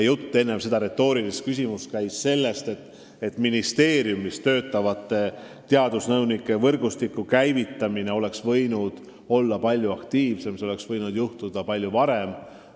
Enne seda retoorilist küsimust käis jutt sellest, et ministeeriumis töötavate teadusnõunike võrgustiku käivitamine oleks võinud käia palju aktiivsemalt ja see oleks võinud juhtuda palju varem.